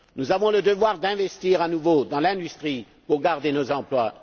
Nous avons le devoir d'investir à nouveau dans l'industrie pour garder nos emplois.